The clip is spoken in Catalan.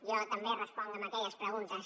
jo també responc a aquelles preguntes